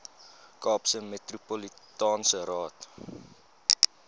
kaapse metropolitaanse raad